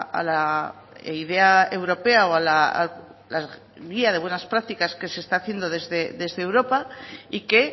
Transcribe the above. a la idea europea o a la guía de buenas prácticas que se está haciendo desde europa y que